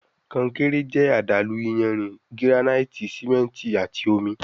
Konkéré jẹ àdàlú iyanrìn, giranaiti simẹnti àti omí